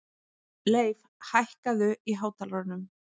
Leif, hækkaðu í hátalaranum.